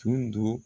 Tun do